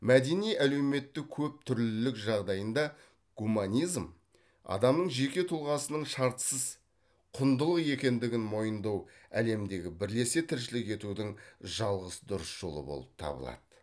мәдени әлеуметтік көп түрлілік жағдайында гуманизм адамның жеке тұлғасының шартсыз құндылық екендігін мойындау әлемдегі бірлесе тіршілік етудің жалғыз дұрыс жолы болып табылады